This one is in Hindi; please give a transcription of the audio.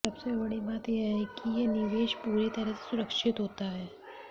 सबसे बड़ी बात यह है कि यह निवेश पूरी तरह से सुरक्षित होता है